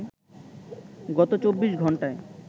গত চব্বিশ ঘণ্টায়